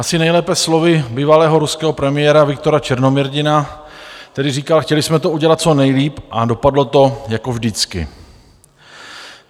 Asi nejlépe slovy bývalého ruského premiéra Viktora Černomyrdina, který říkal: Chtěli jsme to udělat co nejlíp a dopadlo to jako vždycky.